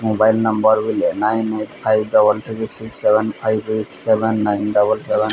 ବିଲେ nine eight five double three six seven five eight seven nine double seven. Mobile number